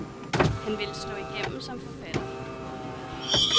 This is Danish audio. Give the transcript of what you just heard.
Han ville slå igennem som forfatter.